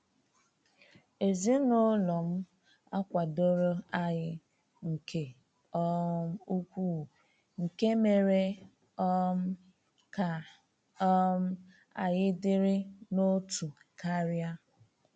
Ezinụlọ m akwadoro anyị nke um ukwuu, nke mere um ka um anyị dịrị n’otu karịa.